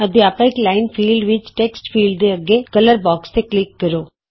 ਅਧਿਆਪਕ line field ਵਿਚ text field ਤੋਂ ਅਗੇ ਕਲਰ ਬੌਕਸ ਤੇ ਕਲਿਕ ਕਰੋ